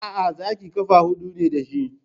Aa, Zaki ƙafa hudu ne dashi